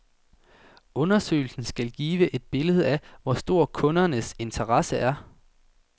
Undersøgelsen skal give et billede af, hvor stor kundernes interesse er.